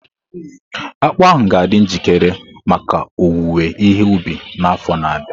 Akpu ahu ga-adị njikere maka owuwe ihe ubi n'afọ na-abịa.